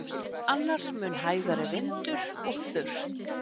Annars mun hægari vindur og þurrt